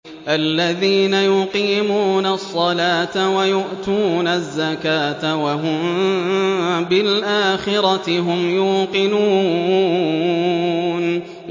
الَّذِينَ يُقِيمُونَ الصَّلَاةَ وَيُؤْتُونَ الزَّكَاةَ وَهُم بِالْآخِرَةِ هُمْ يُوقِنُونَ